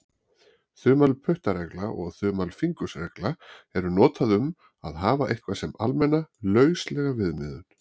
Þumalputtaregla og þumalfingursregla eru notuð um að hafa eitthvað sem almenna, lauslega viðmiðun.